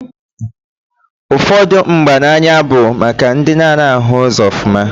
Ụfọdụ mgba n'anya bụ maka ndị na-anaghị ahụ ụzọ ọfụma.